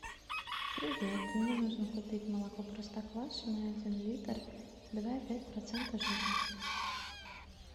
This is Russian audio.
привет мне нужно купить молоко простоквашино один литр два и пять процента жирности